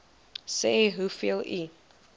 sê hoeveel u